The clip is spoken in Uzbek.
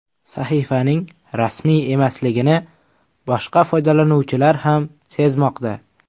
Sahifaning rasmiy emasligini boshqa foydalanuvchilar ham sezmoqda.